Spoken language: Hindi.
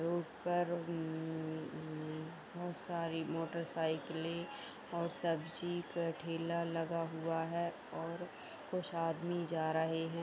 रोड पर उमम बहोत सारी मोटर साइकिलें ( और सब्जी का ठेला लगा हुआ है और कुछ आदमी जा रहे हैं।